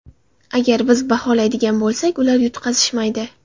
Agar biz baholaydigan bo‘lsak, ular yutqazishmaydi.